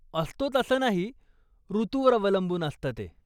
असतोच असं नाही, ऋतूवर अवलंबून असतं ते.